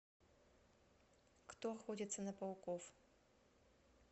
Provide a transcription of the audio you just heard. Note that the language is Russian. кто охотится на пауков